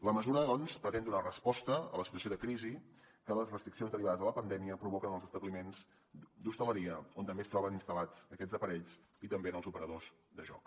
la mesura doncs pretén donar resposta a la situació de crisi que les restriccions derivades de la pandèmia provoquen en els establiments d’hostaleria on també es troben instal·lats aquests aparells i també en els operadors de joc